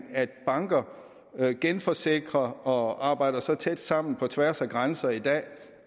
at banker genforsikrer og arbejder så tæt sammen på tværs af grænser i dag